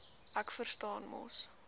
ek verstaan mos